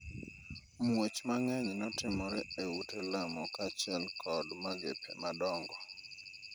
muoch mang'eny notimore e ute lamo kaachiel kod magepe madongo